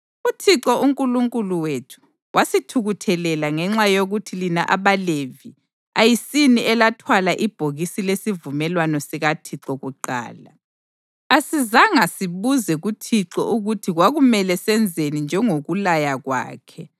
UThixo uNkulunkulu wethu wasithukuthelela ngenxa yokuthi lina abaLevi, ayisini elathwala ibhokisi lesivumelwano sikaThixo kuqala. Asizanga sibuze kuThixo ukuthi kwakumele senzeni njengokulaya kwakhe.”